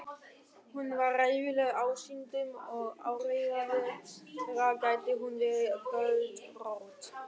Hún var hræðileg ásýndum og áreiðanlega gæti hún verið göldrótt.